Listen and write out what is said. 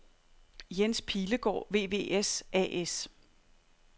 Jens Pilegaard VVS A/S